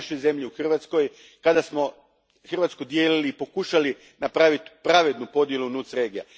u našoj zemlji, u Hrvatskoj, kada smo Hrvatsku dijelili, pokušali napraviti pravednu podjelu NUTS regija.